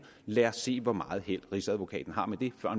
lad os se hvor meget held rigsadvokaten har med det